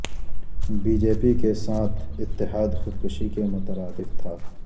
be J P ساتھ اتحاد خودکشی کے مترادف تھا